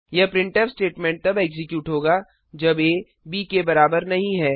यह printf statement तब execute होगा जब aब के बराबर नहीं है